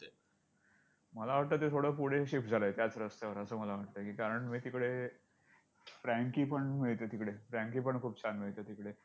मला वाटतं ते थोडं पुढे shift झालंय त्याच रस्त्यावर असं मला वाटतंय, कारण मी तिकडे frankie पण मिळते तिकडे! Frankie पण खूप छान मिळते तिकडे!